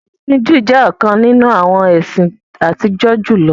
Ẹ̀sin Jùú jẹ̀ ọ̀kan nínu awọn ẹ̀sin àtìjọ́ julọ.